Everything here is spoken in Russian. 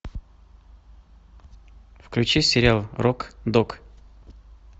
включи сериал рок дог